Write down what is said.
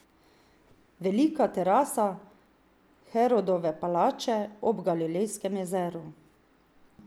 Velika terasa Herodove palače ob Galilejskem jezeru.